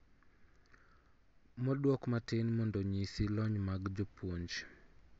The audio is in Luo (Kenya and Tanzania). Moduok matin mondo onyisi lony mag jopuonj